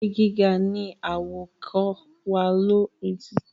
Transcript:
èrè gíga ní awakọ̀ wá ló lórí To kọjá.